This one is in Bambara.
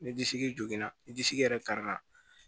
Ni disi jogona ni disi yɛrɛ karila